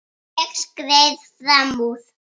Ég skreið fram úr.